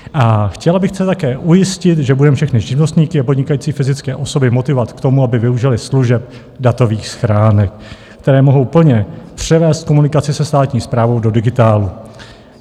A chtěla bych zde také ujistit, že budeme všechny živnostníky a podnikající fyzické osoby motivovat k tomu, aby využili služeb datových schránek, které mohou plně převést komunikaci se státní správou do digitálu.